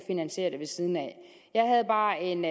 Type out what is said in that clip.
finansiere det ved siden af jeg havde bare en